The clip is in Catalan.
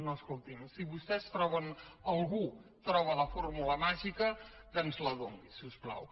no escolti’m si algú troba la fórmula màgica que ens la doni si us plau